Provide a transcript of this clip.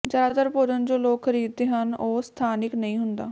ਜ਼ਿਆਦਾਤਰ ਭੋਜਨ ਜੋ ਲੋਕ ਖਰੀਦਦੇ ਹਨ ਉਹ ਸਥਾਨਿਕ ਨਹੀਂ ਹੁੰਦਾ